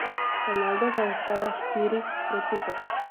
Ronaldo zaostaja štiri proti pet.